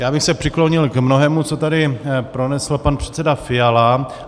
Já bych se přiklonil k mnohému, co tady pronesl pan předseda Fiala.